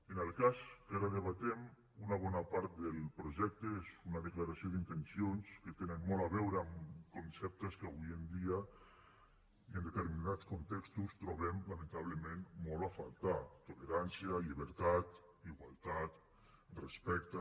en el cas que ara debatem una bona part del projecte és una declaració d’intencions que tenen molt a veure amb conceptes que avui en dia i en determinats contextos trobem lamentablement molt a faltar tolerància llibertat igualtat respecte